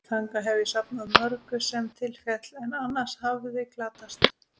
Þangað hef ég safnað mörgu, sem til féll, en annars hefði glatast.